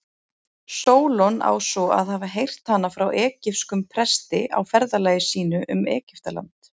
Sólon á svo að hafa heyrt hana frá egypskum presti á ferðalagi sínu um Egyptaland.